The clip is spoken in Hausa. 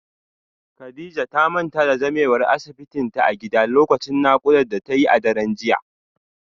Kadijah ta manta da zamewar asibitinta a gida lokacin naƙuda da ta yi a daren jiya